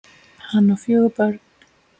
Hann á fjögur börn.